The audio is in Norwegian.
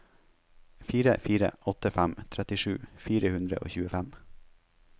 fire fire åtte fem trettisju fire hundre og tjuefem